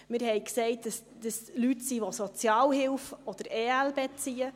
Wir haben gesagt, dass es Leute sind, die Sozialhilfe oder EL beziehen.